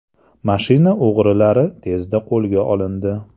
Mashina o‘g‘rilari tezda qo‘lga olindi.